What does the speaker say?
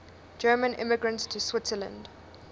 german immigrants to switzerland